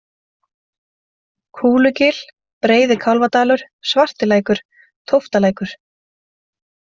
Kúlugil, Breiði-Kálfadalur, Svartilækur, Tóftalækur